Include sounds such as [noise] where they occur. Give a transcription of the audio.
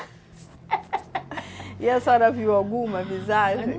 [laughs] E a senhora viu alguma visagem?